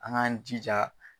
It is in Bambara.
An k'an jija.